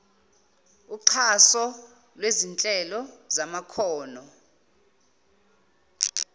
uxhaso lwezinhlelo zamakhono